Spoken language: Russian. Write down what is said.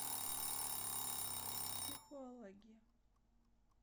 психологи